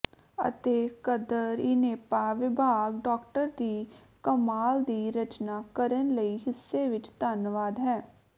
ਅਤੇ ਕਦਰ ਿਣੇਪਾ ਵਿਭਾਗ ਡਾਕਟਰ ਦੀ ਕਮਾਲ ਦੀ ਰਚਨਾ ਕਰਨ ਲਈ ਹਿੱਸੇ ਵਿੱਚ ਧੰਨਵਾਦ ਹੈ